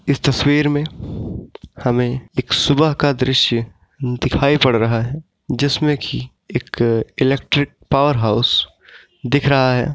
इस तस्वीर मे हमें एक सुबह का दृश्य दिखाई पड़ रहा है जिसमें की एक इलेक्ट्रिक पावर हाउस दिख रहा है।